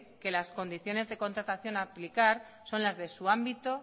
que las condiciones de contratación a aplicar son las de su ámbito